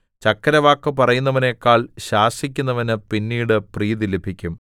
ചക്കരവാക്ക് പറയുന്നവനെക്കാൾ ശാസിക്കുന്നവനു പിന്നീട് പ്രീതി ലഭിക്കും